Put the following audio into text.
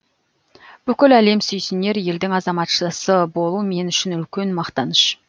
бүкіл әлем сүйсінер елдің азаматшасы болу мен үшін үлкен мақтаныш